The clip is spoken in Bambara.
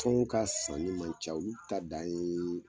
Tɔn ka sanni man ca olu ta dan ye